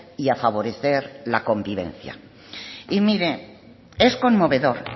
y a favorecer la convivencia y mire es conmovedor